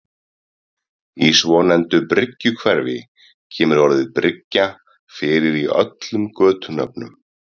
Í svonefndu Bryggjuhverfi kemur orðið bryggja fyrir í öllum götunöfnum.